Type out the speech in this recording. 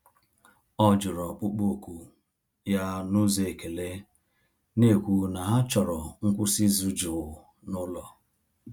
Ọ jụrụ ọkpụkpọ oku ya n’ụzọ ekele, na-ekwu na ha chọrọ ngwụsị izu jụụ n'ụlọ.